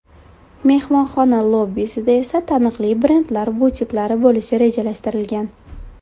Mehmonxona lobbisida esa taniqli brendlar butiklari bo‘lishi rejalashtirilgan.